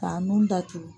K'a nun datugu